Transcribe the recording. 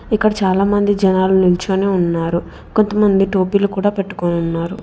ఇక్కడ చాలామంది జనాలు నుంచోని ఉన్నారు కొంతమంది టోపీలు కూడా పెట్టుకోనున్నారు.